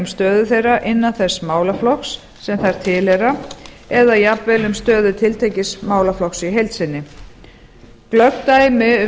stöðu þeirra innan þess málaflokks sem þær tilheyra eða jafnvel um stöðu tiltekins málaflokks í heild sinni glöggt dæmi um skrif